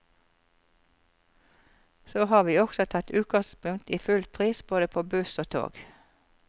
Så har vi også tatt utgangspunkt i fullpris både på buss og tog.